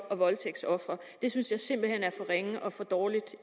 og voldtægtsofre det synes jeg simpelt hen er for ringe og for dårligt